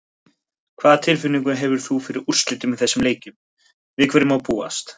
Hvaða tilfinningu hefur þú fyrir úrslitum í þessum leikjum, við hverju má búast?